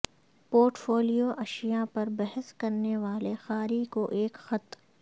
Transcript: port folio اشیاء پر بحث کرنے والے قاری کو ایک خط